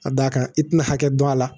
A da kan i tina hakɛ dɔn a la